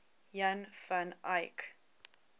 jan van eyck